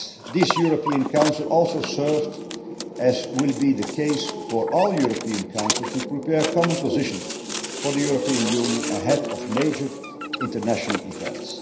This European Council also served as will be the case for all European Councils to prepare common positions for the European Union ahead of major international events.